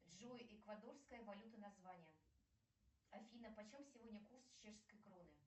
джой эквадорская валюта название афина почем сегодня курс чешской кроны